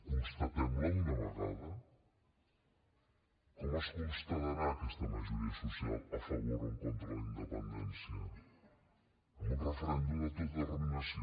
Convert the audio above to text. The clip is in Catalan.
constatem la d’una vegada com es constatarà aquesta majoria social a favor o en contra de la independència amb un referèndum d’autodeterminació